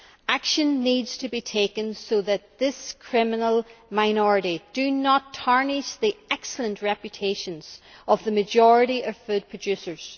Action needs to be taken so that this criminal minority do not tarnish the excellent reputation of the majority of food producers.